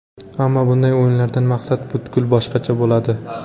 Ammo bunday o‘yinlardan maqsad butkul boshqacha bo‘ladi.